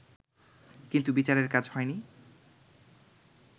কিন্তু বিচারের কাজ হয়নি